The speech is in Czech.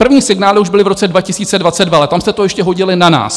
První signály už byly v roce 2022, ale tam jste to ještě hodili na nás.